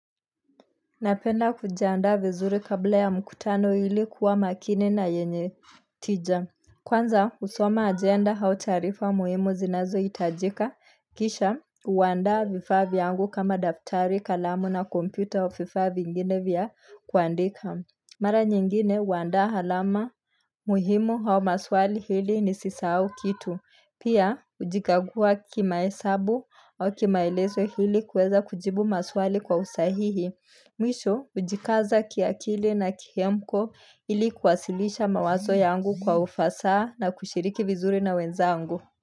Napenda kujiandaa vizuri kabla ya mkutano ili kuwa makini na yenye tija. Kwanza, husoma agenda au taarifa muhimu zinazohitajika. Kisha, huandaa vifaa vyangu kama daftari kalamu na kompyuta au vifaa vingine vya kuandika. Mara nyingine, huandaa alama muhimu au maswali ili nisisahau kitu. Pia, hujikagua kimahesabu au kimaelezo ili kuweza kujibu maswali kwa usahihi. Mwisho, hujikaza kiakili na kihemko ili kuwasilisha mawazo yangu kwa ufasaha na kushiriki vizuri na wenzangu.